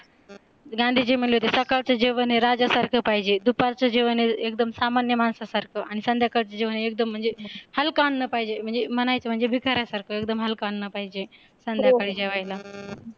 गांधीजी म्हणले होते सकाळचे जेवण हे राजासारखं पाहिजे, दुपारच् जेवण एकदम सामान्य माणसासारखं, आणि संध्याकाळचे जेवण म्हणजे एकदम हलकं अन्न पाहिजे, म्हणजे म्हणायचं म्हणजे भिकाऱ्यासारखं एकदम हलकं अन्न पाहिजे संध्याकाळी जेवायला.